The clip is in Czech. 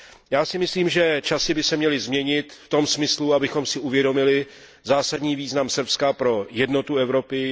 Já si myslím, že časy by se měly změnit v tom smyslu, abychom si uvědomili zásadní význam Srbska pro jednotu Evropy.